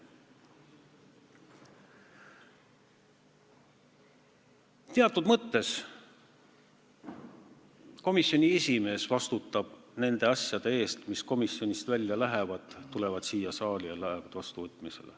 Teatud mõttes komisjoni esimees vastutab nende asjade eest, mis komisjonist välja lähevad, tulevad siia saali ja võetakse vastu.